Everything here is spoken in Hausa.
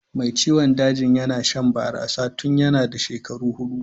Mai ciwon dajin yana shan barasa tun yanna da shekaru hudu.